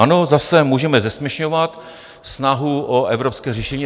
Ano, zase můžeme zesměšňovat snahu o evropské řešení.